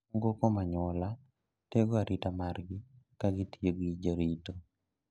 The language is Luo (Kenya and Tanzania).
Moko kuom anyuola tego arita margi ka gitiyogi jarito.